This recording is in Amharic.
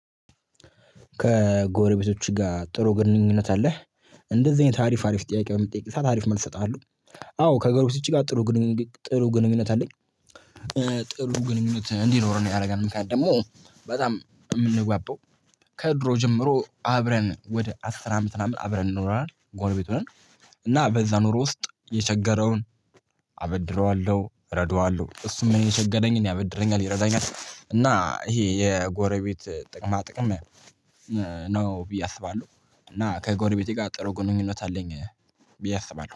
ከጎረቤቶችሁ ጋ ጥሩ ግንኙነት አለህ እንደዚህ አይነት አሪፍ አሪፍ ጥያቄ በመጠየቅ ሰዓት አሪፍ መልስ እሰጣለሁ። አዎ ከጎረቤቶች ጋ ጥሩ ግንኙነት አለኝ። ጥሩ ግንኙነት እንዲኖረን ያረጋል ምክንያት በጣም እምንጓባባው ከድሮ ጀምሮ አብረን ወደ አስር አመት ምናምን አብረን ኖረናል ጎርቤቱ ሁነን። እና በዛ ኖሮ ውስጥ የቸገረውን አበድረዋለሁ እረዳዋለሁ እሱም እኔ የቸገረኝን ያበድረኛል ይረዳኛል እና እሄ የጎረቤት ጥቅማ ጥቅም ነው ብዬ አስባለሁ። እና ከጎሪቤቴ ጋ ጥሩ ግንኙነት አለኝ ብዬ አስባለሁ